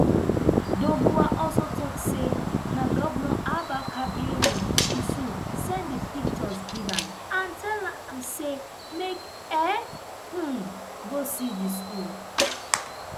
doguwa also tok say na govnor abba kabir yusuf send di pictures give am and tell am say make e um go see di school